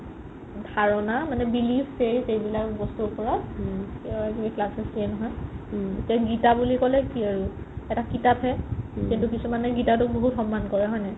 ধাৰণা মানে belief faith এইবিলাকৰ বস্তুৰ ওপৰত classes দিয়ে নহয় গিতা বুলি ক'লে কি আৰু এটা কিতাপ হে কিন্তু কিচোমানে গিতাটো বহুত সন্মান কৰে হয় না নাই